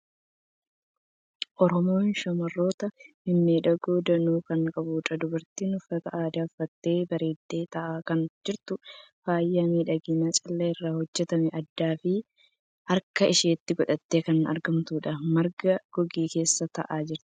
Oromoon shamarroota mimmiidhagoo danuu kan qabdudha! Dubartiin uffata aadaa uffattee bareeddee taa'aa kan jirtudha. Faaya miidhaginaa callee irraa hojjetame addaa fi harka ishiitti godhattee kan argamtudha. Marga goge keessa taa'aa jirti.